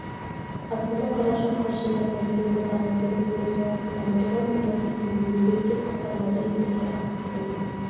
астана қараша қаз жылдарға елордадағы білім беру саласын дамытуға млрд теңге бөлінбек деп хабарлады елорда әкімдігінің